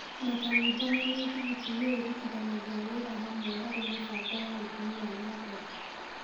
Makanitha na mĩthigiti nĩ irutithanagia wĩra hamwe harĩ mĩbango ya ũthii na mbere.